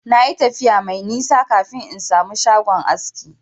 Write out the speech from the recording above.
Na yi tafiya mai nisa kafin in samu shagon aski.